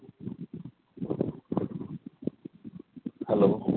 hello